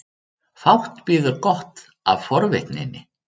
Fátt bíður gott af forvitninni.